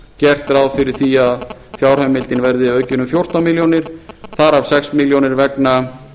gert ráð fyrir því að fjárheimildin verði aukin um fjórtán milljónir þar af sex milljónir vegna